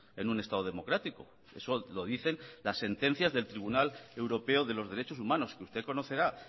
en un estado democrático eso lo dicen las sentencias del tribunal europeo de los derechos humanos que usted conocerá